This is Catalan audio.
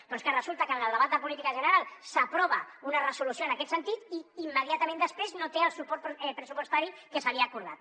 però és que resulta que en el debat de política general s’aprova una resolució en aquest sentit i immediatament després no té el suport pressupostari que s’havia acordat